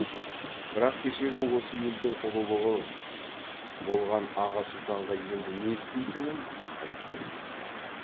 бірақ кешегі осы елдің ұлығы болған аға сұлтанға енді не істейтінін айтпай кетті